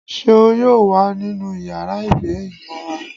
Ṣeún yóò wa ninú ìyára igba-imọrán